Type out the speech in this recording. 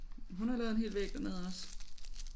Hun har lavet en hel væg dernede også